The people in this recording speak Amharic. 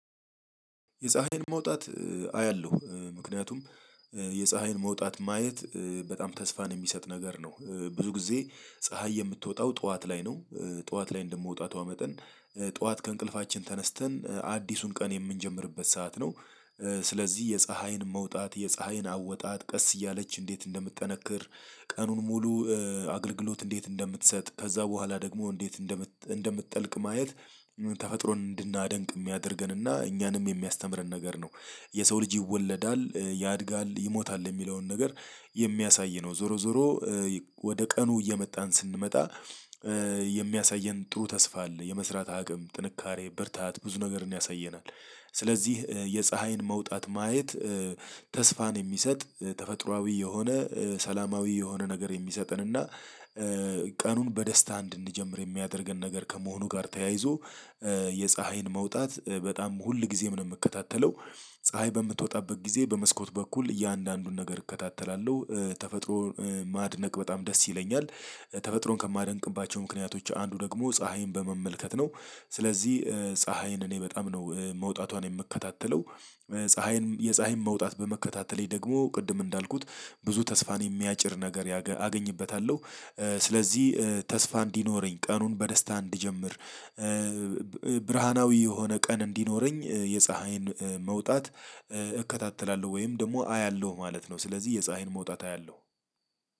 የፀሀይን መውጣት አያለሁ ምክንያቱም የፀሀይን መውጣት ማየት በጣም ተስፋን የሚሰጥ ነገር ነው። ብዙ ጊዜ ፀሀይ የምትወጣው ጠዋት ላይ ነው። ጠዋት ላይ እንደመውጣቷ መጠን ጠዋት ከእንቅልፋችን ተነስተን አዲሱን ቀን የምንጀምርበት ሰዓት ነው። ስለዚህ የፀሀይን መውጣት የፀሀይን አወጣጥ ቀስ እያለች እንዴት እንደምትጠነክር ቀኑን ሙሉ አገልግሎት እንዴት እንደምትሰጥ ከዛ በኋላ ደግሞ እንዴት እንደምትጠልቅ ማየት ተፈጥሮን እንድናደንቅ የሚያደርገንና እኛንም የሚያስተምረን ነገር ነው። የሰው ልጅ ይወለዳል ያድጋል ይሞታል የሚለውን ነገር የሚያሳይ ነው። ዞሮ ዞሮ ወደ ቀኑ እየመጣን ስንመጣ የሚያሳየን ጥሩ ተስፋ አለ የመስራት አቅም ጥንካሬ ብርታት ብዙ ነገርን ያሳየናል። ስለዚህ የፀሀይን መውጣት ማየት ተስፋን የሚሰጥ ተፈጥሮአዊ የሆነ ሰላማዊ የሆነ ነገር የሚሰጠን እና ቀኑን በደስታ እንድንጀምር የሚያደርገን ነገር ከመሆኑ ጋር ተያይዞ የፀሀይን መውጣት በጣም ሁል ጊዜም ነው የምከታተለው። ፀሀይ በምትወጣበት ጊዜ በመስኮት በኩል እያንዳንዱን ነገር እከታተላለሁ ተፈጥሮ ማድነቅ በጣም ደስ ይለኛል። ተፈጥሮን ከማደንቅባቸው ምክንያቶች አንዱ ደግሞ ፀሀይን በመመልከት ነው። ስለዚህ ፀሀይን እኔ በጣም ነው መውጣቷን የምከታተለው። ፀሀይን የፀሀይን መውጣት በመከታተሌ ደግሞ ቅድም እንዳልኩት ብዙ ተስፋን የሚያጭር ነገር አገኝበታለሁ። ስለዚህ ተስፋ እንዲኖረኝ ቀኑን በደስታ እንዲጀምር ብርሃናዊ የሆነ ቀን እንዲኖረኝ የፀሀይን መውጣት እከታተላለሁ ወይም ደግሞ አያለሁ ማለት ነው። ስለዚህ የፀሀይን መውጣት አያለሁ።